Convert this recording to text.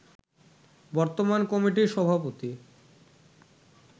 বর্তমান কমিটির সভাপতি